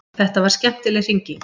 Þetta var skemmtileg hringing.